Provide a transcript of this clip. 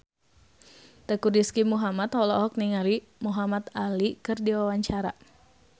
Teuku Rizky Muhammad olohok ningali Muhamad Ali keur diwawancara